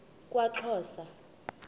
kwaxhosa